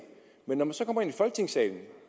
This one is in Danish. men når man så kommer ind i folketingssalen